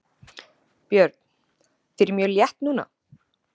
Björn: Þér er mjög létt núna?